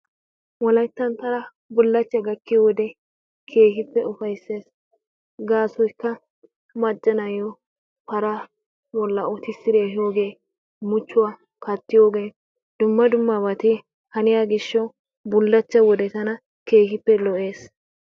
Wolayttan tana bullachchay gakkiyo wode keehiippe ufayssees. Gaasoykka macca na'iyo paraa bolla uttisidi ehiyoogee muchchuwa kattiyoogee dumma dummabati haniya gishshawu bullacha wodee tana keehiippe lo'ees.